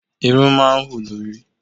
Irun máa ń hù lórí.